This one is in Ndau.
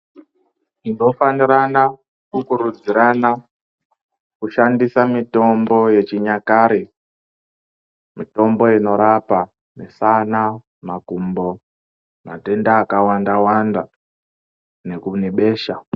Tinofanirana kukurudzirana kushandisa mitombo yechinyakare, mitombo inorapa misana, makumbo, matenda akawanda-wanda neku nebesha.